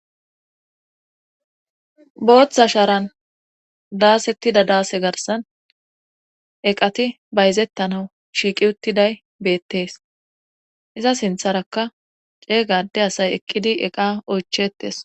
booththa sharan daasettida daase garsan eqati bayzettanau shiiqi uttiday beettees iza sintharaka ceeygade asay eqqidi eqa oychetes